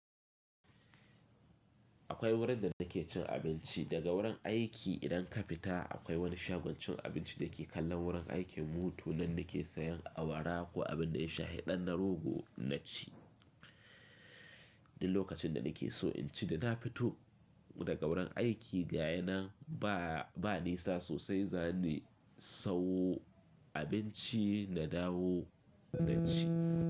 Akwai wurin da nake cin abinci daga wurin aiki. Idan ka fita akwai wani shagon cin abinci da ke kallon wurin aikin mutu nan nake sayan awara ko abin da ya shahiɗan na rogo na ci. Duk lokacin da nake so in ci da na fito daga wurin aiki, ga yana ba, ba nisa sosai zani sau abinci na dawo na ci.